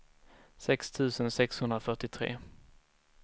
sex tusen sexhundrafyrtiotre